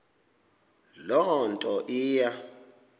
loo nto iya